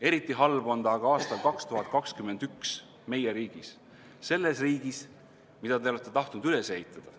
Eriti halb on see aga aastal 2021 meie riigis, selles riigis, mida te olete tahtnud üles ehitada.